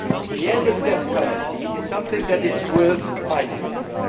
The end of the death penalty is something that is worth fighting for.